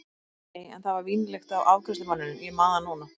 Nei, en það var vínlykt af afgreiðslumanninum, ég man það núna.